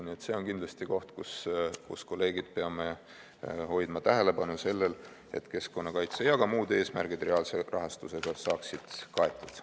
Nii et see on kindlasti koht, kus, kolleegid, peame hoidma tähelepanu sellel, et keskkonnakaitse ja ka muud eesmärgid reaalse rahastusega saaksid kaetud.